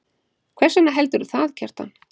Hvers vegna heldurðu það, Kjartan?